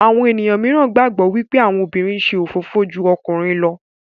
Àwọn ènìyàn míràn gbagbọ wipe àwọn obìrin ṣe òfófó jù ọkùnrin ló